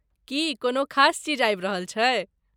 की कोनो खास चीज आबि रहल छै?